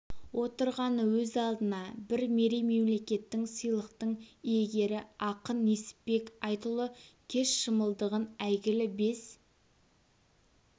отырғаны өз алдына бір мерей мемлкеттің сыйлықтың иегері ақын несіпбек айтұлы кеш шымылдығын әйгілі бес